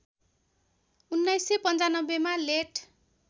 १९९५ मा लेट